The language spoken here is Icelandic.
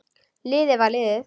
Liðið var liðið.